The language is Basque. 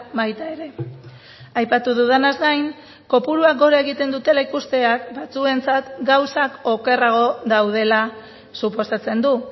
baita ere aipatu dudanaz gain kopuruak gora egiten dutela ikusteak batzuentzat gauzak okerrago daudela suposatzen du